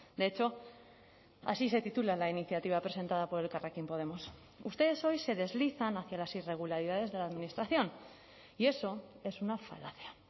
de hecho así se titula la iniciativa presentada por elkarrekin podemos ustedes hoy se deslizan hacia las irregularidades de la administración y eso es una falacia